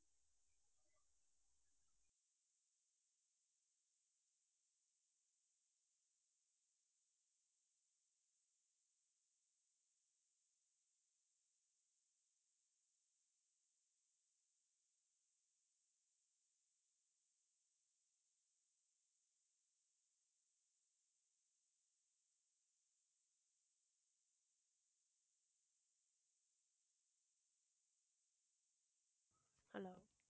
hello